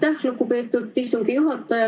Aitäh, lugupeetud istungi juhataja!